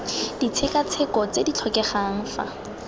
ditshekatsheko tse di tlhokegang fa